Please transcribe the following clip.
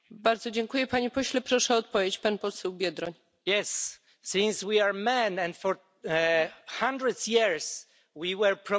Yes, since we are men and for hundreds of years we have been promoted, we should always look behind us.